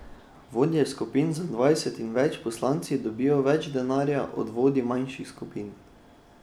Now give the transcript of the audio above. Vodje skupin z dvajset in več poslanci dobijo več denarja od vodij manjših skupin.